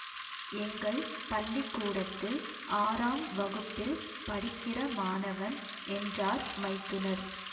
எங்கள் பள்ளி கூடத்தில் ஆறாம் வகுப்பில் படிக்கிற மாணவன் என்றார் மைத்துனர்